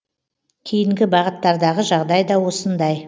кейінгі бағыттардағы жағдай да осындай